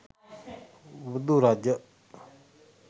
බුදු රජ